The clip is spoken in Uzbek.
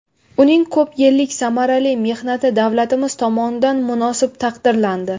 Uning ko‘p yillik samarali mehnati davlatimiz tomonidan munosib taqdirlandi.